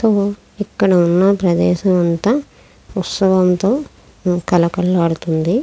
ఇక్కడ ఉన్న ప్రదేశం అంత ఉత్సవంతో కలకాలాడుతుంది.